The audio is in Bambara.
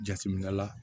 Jateminɛ la